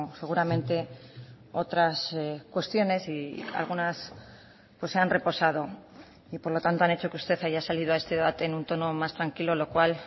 seguramente otras cuestiones y algunas se han reposado y por lo tanto han hecho que usted haya salido a este debate en un tono más tranquilo lo cual